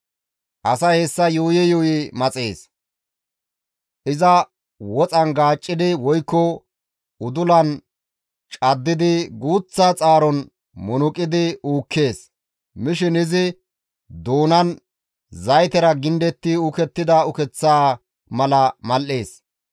Asay hessa yuuyi yuuyi maxees; iza woxan gaaccidi woykko udulan caddidi guuththa xaaron munuqidi uukkees; mishin izi doonan zaytera gindetti uukettida ukeththa mala mal7ees.